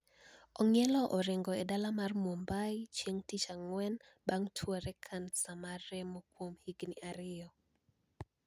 Ong`ielo orengo e dala mar Mumbai chieng` tich Ang`wen bang` tuore kansa mar remo kuom higni ariyo